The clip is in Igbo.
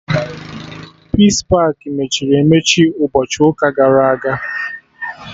Peace pakị mechiri emechi ụbọchị ụka gara aga